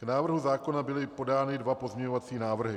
K návrhu zákona byly podány dva pozměňovací návrhy.